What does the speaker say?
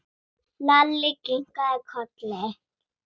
Lalli kinkaði kolli.